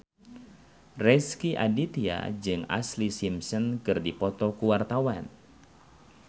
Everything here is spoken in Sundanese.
Rezky Aditya jeung Ashlee Simpson keur dipoto ku wartawan